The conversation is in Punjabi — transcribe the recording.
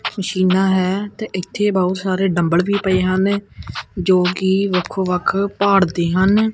ਜਿਨਾਂ ਹੈ ਤੇ ਇੱਥੇ ਬਹੁਤ ਸਾਰੇ ਡੰਬਲ ਵੀ ਪਏ ਹਨ ਜੋ ਕਿ ਵੱਖੋ ਵੱਖ ਭਾੜ ਦੇ ਹਨ।